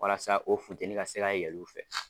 Walasa o finteni ka se ka yɛl'u fɛ.